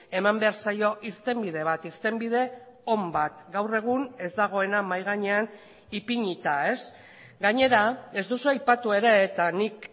eman behar zaio irtenbide bat irtenbide on bat gaur egun ez dagoena mahai gainean ipinita gainera ez duzu aipatu ere eta nik